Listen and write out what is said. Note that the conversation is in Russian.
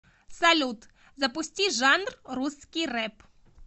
салют запусти жанр русский реп